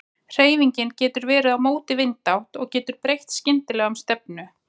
Hreyfingin getur verið á móti vindátt og getur breytt skyndilega um stefnu.